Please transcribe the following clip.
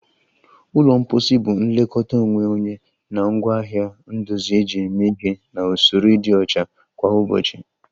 Ụlọ mposi bụ nlekọta onwe onye na ngwaahịa ndozi eji eme ihe na usoro ịdị ọcha kwa ụbọchị